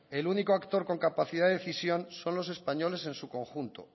el único actor con capacidad de decisión son los españoles en su conjunto